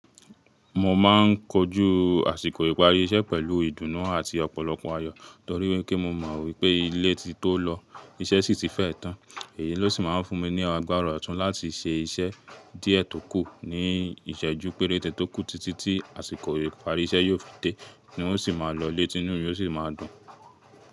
Mo ma ń kojú àsìkò ìparí iṣẹ́ pẹ̀lú ìdùnnú àti ọ̀pọ̀lọpọ̀ ayọ́ torí wípé mo mọ̀ wípé ilé ti tó lọ, iṣẹ́ sì ti fẹ́ tán. Èyí ló sì máa ń fún mi ní agbára ọ̀tún láti ṣe iṣẹ́ díẹ̀ tó kù ní ìṣẹ́jú péréte tó kù títìítì àsìkò ìparí iṣẹ́ yóò fi dé ń wo sì máa lọ́lẹ̀ tí inú mi yóò sì máa dùn.